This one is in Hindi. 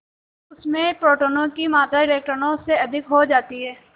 उसमें प्रोटोनों की मात्रा इलेक्ट्रॉनों से अधिक हो जाती है